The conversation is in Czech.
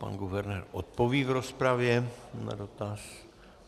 Pan guvernér odpoví v rozpravě na dotaz.